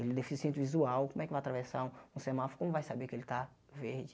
Ele é deficiente visual, como é que vai atravessar um semáforo, como vai saber que ele tá verde?